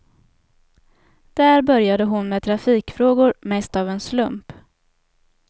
Där började hon med trafikfrågor, mest av en slump.